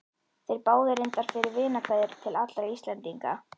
Þeir báðu reyndar fyrir vinarkveðjur til allra Íslendinga.